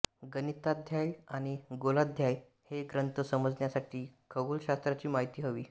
गणिताध्याय आणि गोलाध्याय हे ग्रंथ समजण्यासाठी खगोलशास्त्राची माहिती हवी